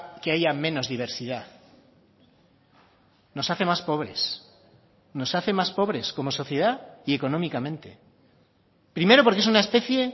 que haya menos diversidad nos hace más pobres nos hace más pobres como sociedad y económicamente primero porque es una especie